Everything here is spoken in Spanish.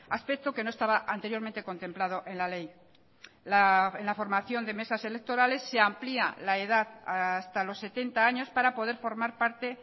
aspecto que no estaba anteriormente contemplado en la ley en la formación de mesas electorales se amplía la edad hasta los setenta años para poder formar parte